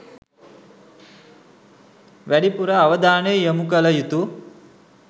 වැඩිපුර අවධානය යොමු කළ යුතු